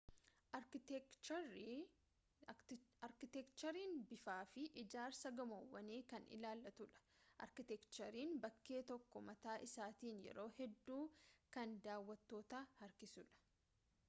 arkiteekcheriin bifaafi ijaarsa gamoowwanii kan ilaallatudha arkiteekcheriin bakkee tokkoo mataa isaatiin yeroo hedduu kan daawattoota harkisudha